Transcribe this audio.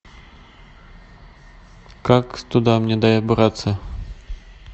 как туда мне добраться